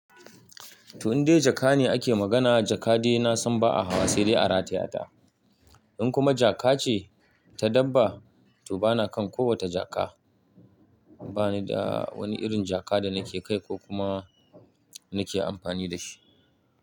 To, in dai jaka ne ake magana, jaka dai na san ba a hawa sai dai a rataya ta. In kuma jaka ce ta dabba, to bana kan ko wata jaka. Ba ni da wani irin jaka da nake kai ko kuma nake amfani da shi.